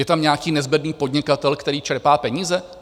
Je tam nějaký nezbedný podnikatel, který čerpá peníze?